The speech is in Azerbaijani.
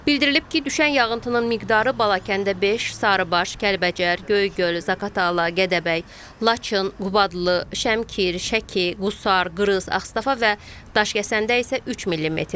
Bildirilib ki, düşən yağıntının miqdarı Balakəndə 5, Sarıbaş, Kəlbəcər, Göygöl, Zaqatala, Gədəbəy, Laçın, Qubadlı, Şəmkir, Şəki, Qusar, Qrız, Ağstafa və Daşkəsəndə isə 3 millimetrdir.